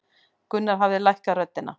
Gunnar hafði lækkað röddina.